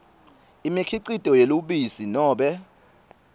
imikhicito yelubisi nobe